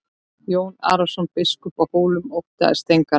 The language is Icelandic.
Jón Arason biskup á Hólum óttaðist engan.